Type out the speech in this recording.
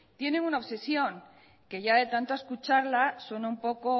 tienen una obsesión que ya de tanto escucharla suena un poco